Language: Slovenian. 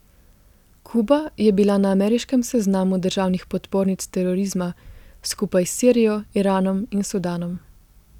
Kuba je bila na ameriškem seznamu državnih podpornic terorizma skupaj s Sirijo, Iranom in Sudanom.